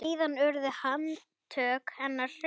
Síðan urðu handtök hennar hröð.